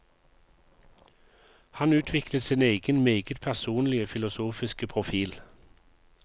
Han utviklet sin egen meget personlige filosofiske profil.